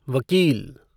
वकील